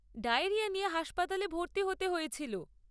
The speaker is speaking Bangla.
ডায়েরিয়া নিয়ে হাসপাতালে ভর্তি হতে হয়েছিল।